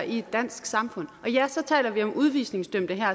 i det danske samfund og ja så taler vi om udvisningsdømte